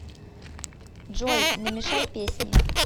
джой намешай песни